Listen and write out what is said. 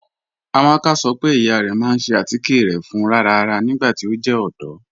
Amaka sọ pe iya rẹ ma n ṣe atikẹ rẹ fún ráràrá nigbati o jẹ ọdọ.